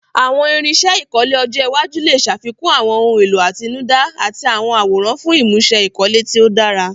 Àwọn irinṣẹ́ ìkọ́lé ọjọ́ iwájú lè ṣàfikún àwọn ohun èlò àtinúdá àti àwọn àwòrán fún ìmúṣe ìkọ́lé tí ó dára.